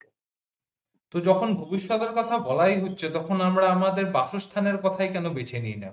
তো যখন ভবিষ্যতের কথা বলাই হচ্ছে তখন আমরা আমাদের বাসস্থানের কথাই কেনো বেছে নেই না